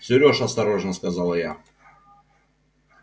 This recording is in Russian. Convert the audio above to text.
серёж осторожно сказала я